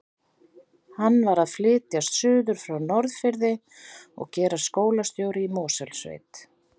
Hann var að flytjast suður frá Norðfirði og gerast skólastjóri í Mosfellssveit.